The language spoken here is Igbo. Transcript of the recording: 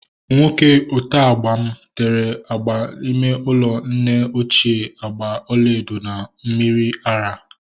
Nwoke oteagba m tere agba ime ụlọ nne ochie agba ọlaedo na mmiri ara